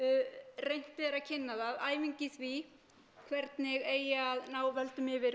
reynt er að kynna það æfing í því hvernig eigi að ná völdum yfir